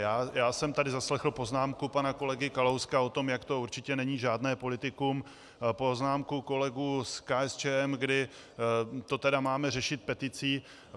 Já jsem tady zaslechl poznámku pana kolegy Kalouska o tom, jak to určitě není žádné politikum, poznámku kolegů z KSČM, kdy to tedy máme řešit peticí.